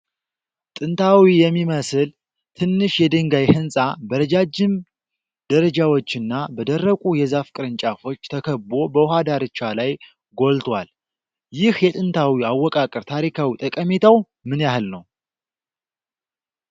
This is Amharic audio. ጥንታዊ የሚመስል ትንሽ የድንጋይ ሕንጻ፣ በረጃጅም ደረጃዎችና በደረቁ የዛፍ ቅርንጫፎች ተከቦ በውሃ ዳርቻ ላይ ጎልቶዋል። ይህ የጥንት አወቃቀር ታሪካዊ ጠቀሜታው ምን ያህል ነው?